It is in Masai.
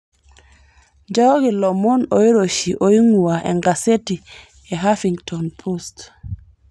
nchooki ilomon oiroshi oing'ua enkaseti ehuffington post